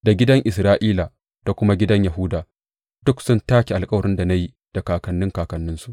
Da gidan Isra’ila da kuma gidan Yahuda duk sun take alkawarin da na yi da kakanni kakanninsu.